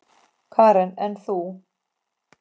Karen: En þú?